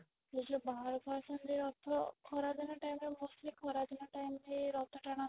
ସେ ଯୋଉ ବାହାରକୁ ଆସନ୍ତି ରଥ ଖରା ଦିନ timeରେ mostly ଖରା ଦିନ time ରେ ରଥ ଟାଣନ୍ତି